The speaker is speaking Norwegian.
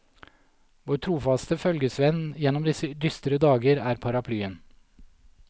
Vår trofaste følgesvenn gjennom disse dystre dager er paraplyen.